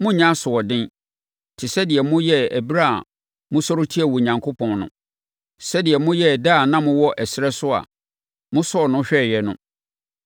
monnyɛ asoɔden te sɛ deɛ moyɛɛ ɛberɛ a mosɔre tiaa Onyankopɔn no; sɛdeɛ moyɛɛ da a na mowɔ ɛserɛ so a mosɔɔ no hwɛeɛ no.